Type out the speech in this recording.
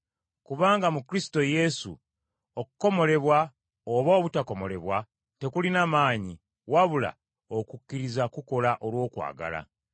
Kubanga mu Kristo Yesu, okukomolebwa oba obutakomolebwa, tekulina maanyi, wabula okukkiriza kukola olw’okwagala.